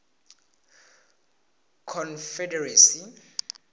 confederacy